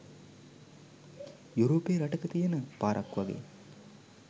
යුරෝපේ රටක තියෙන පාරක් වගේ.